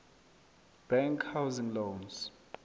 bank housing loans